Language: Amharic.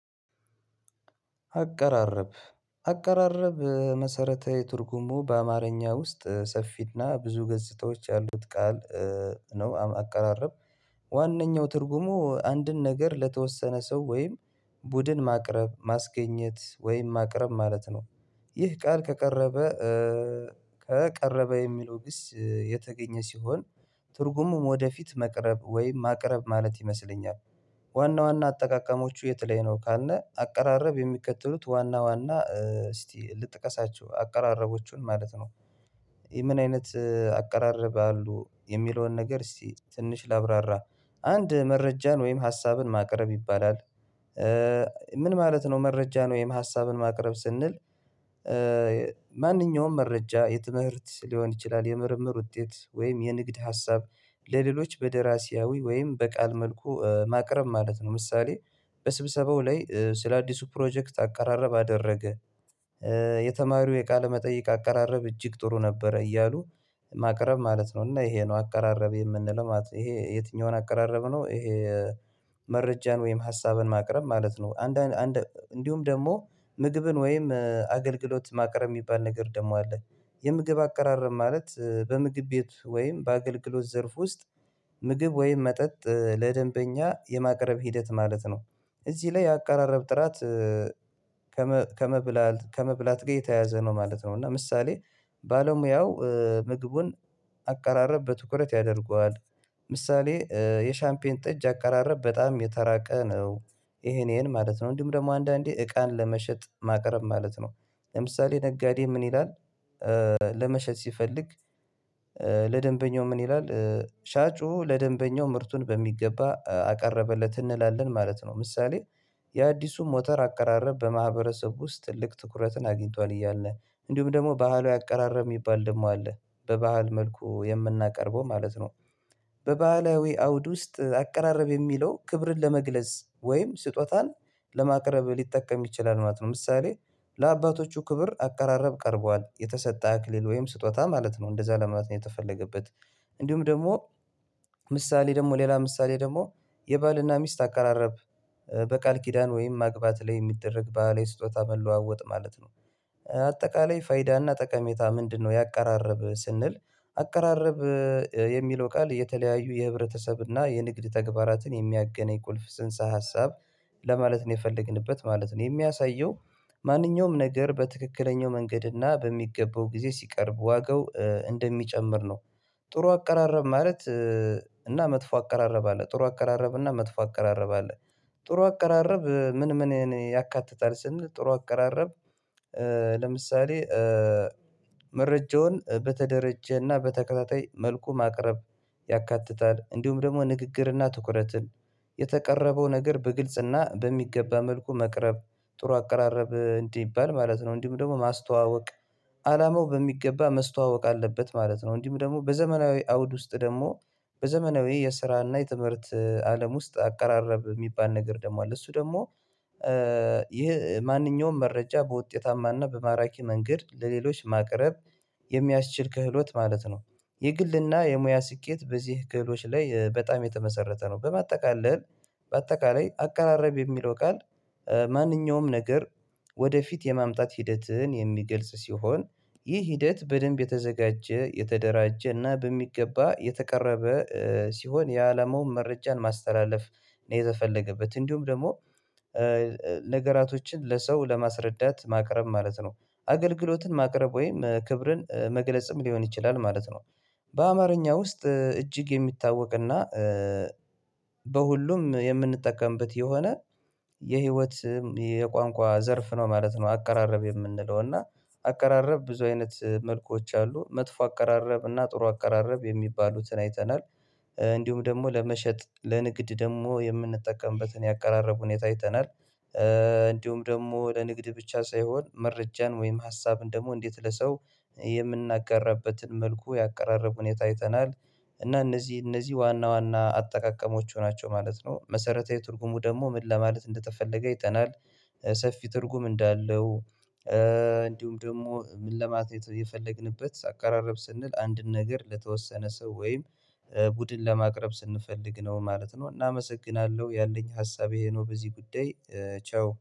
አቀራረብ አቀራረብ መሰረታዊ ትርጉሙ በአማርኛ ውስጥ ሰፊና ብዙ ገጽታዎች ያሉት ቃል ነው። አቀራረብ ዋነኛው ትርጉሙ አንድን ነገር ለተወሰነ ሰው ወይም ቡድን ማቅረብ ማስገኘት ወይም ማቅረብ ማለት ነው፤ ይህ ቃል ከቀረበ ከቀረበ የሚለው ግስ የተገኘ ሲሆን ትርጉሙም ወደፊት መቅረብ ወይም ማቅረብ ማለት ይመስለኛል፤። ዋና ዋና አጠቃቀሞቹ የት ላይ ነው ካልነ አቀራረብ የሚከተሉት ዋና ዋና እስቲ ልጥቀሳቸው አቀራረቦቹን ማለት ነው፤። ይሄ ምን አይነት አቀራረብ አሉ የሚለውን ነገር እስቲ ትንሽ ላብራራ አንድ መረጃን ወይም ሀሳብን ማቅረብ ይባላል፤። ምን ማለት ነው መረጃን ወይም ሀሳብን ማቅረብ ስንል ማንኛውም መረጃ የትምህርት ሊሆን ይችላል የምርምር ውጤት ወይም የንግድ ሀሳብ ለሌሎች በደራሲያዊ ወይም በቃል መልኩ ማቅረብ ማለት ነው። ምሳሌ በስብሰባው ላይ ስለአዲሱ ፕሮጀክት አቀራረብ አደረገ። የተማሪው የቃለ መጠይቅ አቀራረብ እጅግ ጥሩ ነበረ እያሉ ማቅረብ ማለት ነው እና ይሄ ነው አቀራረብ የምንለው ማለት ነው። ይሄ የትኛውን አቀራረብ ነው ይሄ መረጃን ወይም ሀሳብን ማቅረብ ማለት ነው። አንዳንድ እንዲሁም ደግሞ ምግብን ወይም አገልግሎት ማቅረብ የሚባል ነገር ደግሞ አለ የምግብ አቀራረብ ማለት በምግብ ቤት ወይም በአገልግሎት ዘርፍ ውስጥ ምግብ ወይም መጠጥ ለደንበኛ የማቅረብ ሂደት ማለት ነው። እዚህ ላይ አቀራረብ ጥራት ከመብላት ጋር የተያዘ ነው ማለት ነው። እና ምሳሌ ባለሙያው ምግቡን አቀራረብ በትኩረት ያደርገዋል ምሳሌ የሻምፔን ጠጅ አቀራረብ በጣም የተራቀ ነው። ይሄን ይሄን ማለት ነው እንዲሁም ደግሞ አንዳንዴ እቃን ለመሸጥ ማቅረብ ማለት ነው። ለምሳሌ ነጋዴ ምን ይላል ለመሸጥ ሲፈልግ ለደንበኛው ምን ይላል ሻጩ ለደንበኛው ምርቱን በሚገባ አቀረበለት እንላለን ማለት ነው። ምሳሌ የአዲሱ ሞተር አቀራረብ በማህበረሰብ ውስጥ ልክ ትኩረትን አግኝቷል እያልነ እንዲሁም ደግሞ ባህለዊ አቀራረብ የሚባል ደግሞ አለ በባህል መልኩ የምናቀርበው ማለት ነው፤። በባህላዊ አውድ ውስጥ አቀራረብ የሚለው ክብርን ለመግለጽ ወይም ስጦታን ለማቅረብ ሊጠቀም ይችላል ማለት ነው። ምሳሌ ለአባቶቹ ክብር አቀራረብ ቀርቧል የተሰጠ አክሊል ወይም ስጦታ ማለት ነው። እንደዛ ለማለት ነው የተፈለገበት እንዲሁም ደግሞ ምሳሌ ደግሞ ሌላ ምሳሌ ደግሞ የባልና ሚስት አቀራረብ በቃል ኪዳን ወይም ማግባት ላይ የሚደረግ ባህላዊ ስጦታ መለዋወጥ ማለት ነው። አጠቃላይ ፋይዳና ጠቀሜታ ምንድነው? ያቀራረብ ስንል አቀራረብ የሚለው ቃል የተለያዩ የህብረተሰብ እና የንግድ ተግባራትን የሚያገነኝ ቁልፍ ጽንሰ ሀሳብ ለማለት ነው የፈለግንበት ማለት ነው። የሚያሳየው ማንኛውም ነገር በትክክለኛው መንገድ እና በሚገባው ጊዜ ሲቀርብ ዋጋው እንደሚጨምር ነው። ጥሩ አቀራረብ ማለት እና መጥፎ አቀራረብ አለ ጥሩ አቀራረብ እና መጥፎ አቀራረብ አለ። ጥሩ አቀራረብ ምን ምንን ያካትታል? ስንል ጥሩ አቀራረብ ለምሳሌ መረጃውን በተደረጀና በተከታታይ መልኩ ማቅረብ ያካትታል እንዲሁም ደግሞ ንግግርና ትኩረትን የተቀረበው ነገር በግልጽና በሚገባ መልኩ መቅረብ ጥሩ አቀራረብ እንዲባል ማለት ነው እንዲሁም ደግሞ ማስተዋወቅ አላማው በሚገባ መስተዋወቅ አለበት ማለት ነው። እንዲሁም ደግሞ በዘመናዊ አውድ ውስጥ ደግሞ በዘመናዊ የስራና የትምህርት አለም ውስጥ አቀራረብ የሚባል ነገር ደግሞ አለ እሱ ደግሞ ይሄ ማንኛውም መረጃ በውጤታማና በማራኪ መንገድ ለሌሎች ማቅረብ የሚያስችል ክህሎት ማለት ነው። የግልና የሙያ ስኬት በዚህ ክህሎች ላይ በጣም የተመሰረተ ነው፤። በማጠቃለል በአጠቃላይ አቀራረብ የሚለው ቃል ማንኛውም ነገር ወደፊት የማምጣት ሂደትን የሚገልጽ ሲሆን ይህ ሂደት በደንብ የተዘጋጀ የተደራጀ እና በሚገባ የተቀረበ ሲሆን የአለማውን መረጃን ማስተላለፍ ነው የተፈለገበት እንዲሁም ደግሞ ነገራቶችን ለሰው ለማስረዳት ማቅረብ ማለት ነው። አገልግሎትን ማቅረብ ወይም ክብርን መግለጽም ሊሆን ይችላል ማለት ነው። በአማርኛ ውስጥ እጅግ የሚታወቅና በሁሉም የምንጠቀምበት የሆነ የህይወት የቋንቋ ዘርፍ ነው ማለት ነው። አቀራረብ የምንለው እና አቀራረብ ብዙ አይነት መልኮች አሉ መጥፎ አቀራረብ እና ጥሩ አቀራረብ የሚባሉትን አይተናል። እንዲሁም ደግሞ ለመሸጥ ለንግድ ደግሞ የምንጠቀምበትን ያቀራረቡን ሁኔታ አይተናል። እንዲሁም ደግሞ ለንግድ ብቻ ሳይሆን መረጃን ወይም ሀሳብን ደግሞ እንዴት ለሰው የምናጋራበትን መልኩ ያቀራረቡን ሁኔታ አይተናል፤። እና እነዚህ እነዚህ ዋና ዋና አጠቃቀሞቹ ናቸው ማለት ነው። መሰረታዊ ትርጉሙ ደግሞ ምን ለማለት እንደተፈለገ አይተናል ሰፊ ትርጉም እንዳለው እንዲሁም ደግሞ ምን ለማትረፍ የፈለግንበት አቀራረብ ስንል አንድን ነገር ለተወሰነ ሰው ወይም ቡድን ለማቅረብ ስንፈልግ ነው ማለት ነው። እናመሰግናለሁ ያለኝ ሀሳብ ይህ ነው በዚህ ጉዳይ። ቻው